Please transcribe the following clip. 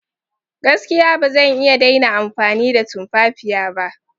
Gaskiya! Ba zan iya daina amfani da tumfafiya ba.